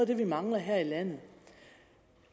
det vi mangler her i landet